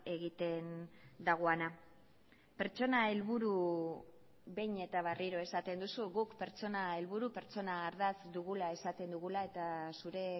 egiten dagoena pertsona helburu behin eta berriro esaten duzu guk pertsona helburu pertsona ardatz dugula esaten dugula eta zure